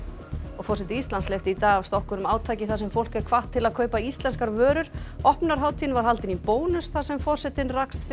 forseti Íslands hleypti í dag af stokkunum átaki þar sem fólk er hvatt til þess að kaupa íslenskar vörur opnunarhátíðin var haldin í Bónus þar sem forsetinn rakst fyrir